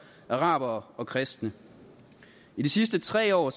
arabere og kristne i de sidste tre år